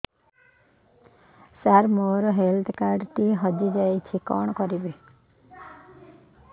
ସାର ମୋର health card ଟି ହଜି ଯାଇଛି କଣ କରିବି